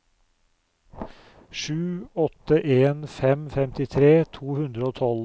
sju åtte en fem femtitre to hundre og tolv